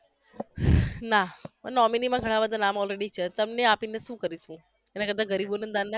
ના nominee માંં ઘણા બધા નામ already છે તમને આપીને શું કરીશ હું એના કરતા ગરીબોને દાન ના